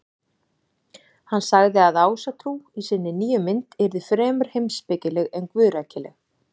Hann sagði að Ásatrú í sinni nýju mynd yrði fremur heimspekileg en guðrækileg.